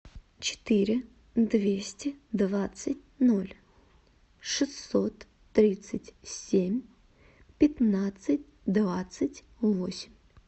четыре двести двадцать ноль шестьсот тридцать семь пятнадцать двадцать восемь